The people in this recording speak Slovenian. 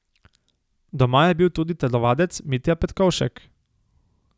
Doma je bil tudi telovadec Mitja Petkovšek.